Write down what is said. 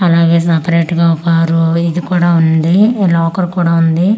అలాగే సెపరేట్ ఒక ఆ_రో ఇది కూడా ఉంది ఈ లాకర్ కూడా ఉంది అంటే.